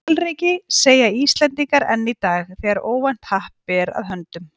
Hvalreki, segja Íslendingar enn í dag, þegar óvænt happ ber að höndum.